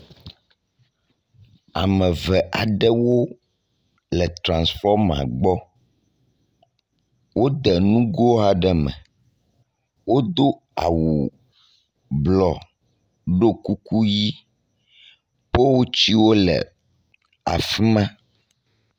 Ame ve aɖewo le transfɔma gbɔ. Wode nugo aɖe me. wodo awu blɔ ɖo kuku ʋi. polutsiwo le afi ma.